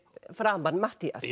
framan Matthías